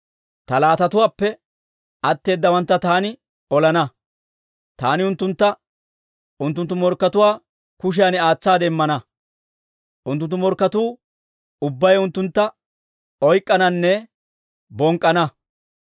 Ta laatatuwaappe atteeddawantta taani olana; taani unttuntta unttunttu morkkatuwaa kushiyan aatsaade immana. Unttunttu morkketuu ubbay unttuntta oyk'k'ananne bonk'k'ana.